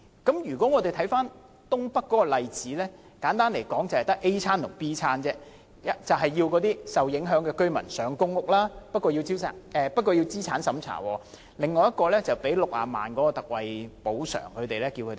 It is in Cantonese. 看回東北的例子，簡單來說，賠償和搬遷計劃只有 "A 餐"和 "B 餐"，即安排受影響居民入住公屋，不過要先經過資產審查，或給予60萬元特惠補償，然後要他們搬遷。